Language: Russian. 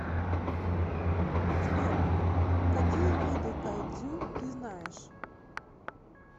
сбер какие виды кайдзю ты знаешь